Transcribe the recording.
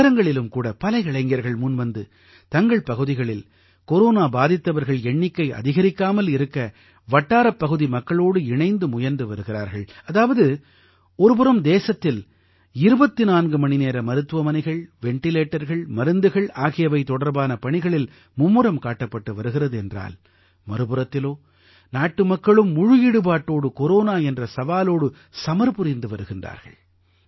நகரங்களிலும் கூட பல இளைஞர்கள் முன்வந்து தங்கள் பகுதிகளில் கொரோனா பாதித்தவர்கள் எண்ணிக்கை அதிகரிக்காமல் இருக்க வட்டாரப் பகுதி மக்களோடு இணைந்து முயன்று வருகிறார்கள் அதாவது ஒரு புறம் தேசத்தில் 24 மணிநேர மருத்துவமனைகள் வெண்டிலேட்டர்கள் மருந்துகள் ஆகியவை தொடர்பான பணிகளில் மும்முரம் காட்டப்பட்டு வருகிறது என்றால் மறுபுறத்திலோ நாட்டுமக்களும் முழு ஈடுபாட்டோடு கொரோனா என்ற சவாலோடு சமர் புரிந்து வருகின்றார்கள்